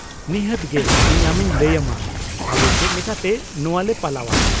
ᱱᱤᱦᱟᱹᱛ ᱜᱮ ᱤᱧ ᱟᱢᱤᱧ ᱞᱟᱹᱭ ᱟᱢᱟ ᱟᱞᱮ ᱪᱮᱫ ᱞᱮᱠᱟᱛᱮ ᱱᱚᱶᱟ ᱞᱮ ᱯᱟᱞᱟᱣᱼᱟ ᱾